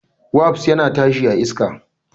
Wasp yana tashi a iska.